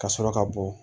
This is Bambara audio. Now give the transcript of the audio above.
Ka sɔrɔ ka bɔ